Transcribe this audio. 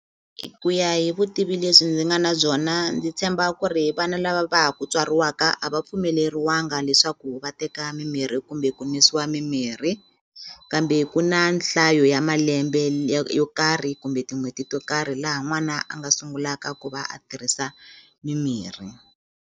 Ku ya hi vutivi lebyi ndzi nga na byona ndzi tshemba ku ri vana lava va ha ku tswariwaka a va pfumeleriwanga leswaku va teka mimirhi kumbe ku nwisiwa mimirhi kambe ku na nhlayo ya malembe yo karhi kumbe tin'hweti to karhi laha n'wana a nga sungulaka ku va a tirhisa mimirhi.